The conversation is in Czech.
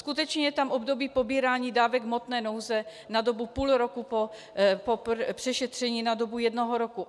Skutečně je tam období pobírání dávek hmotné nouze na dobu půl roku, po přešetření na dobu jednoho roku.